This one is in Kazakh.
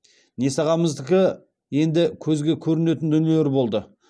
несағамыздікі енді көзге көрінетін дүниелер болды